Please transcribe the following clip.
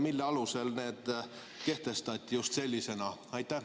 Mille alusel need kehtestati just sellisena?